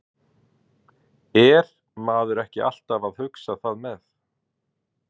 Er maður ekki alltaf að hugsa það með?